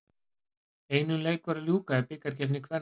Einum leik var að ljúka í bikarkeppni kvenna.